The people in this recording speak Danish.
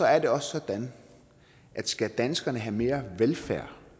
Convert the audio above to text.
er det også sådan at skal danskerne have mere velfærd